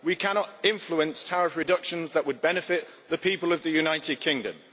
We cannot influence tariff reductions that would benefit the people of the United Kingdom.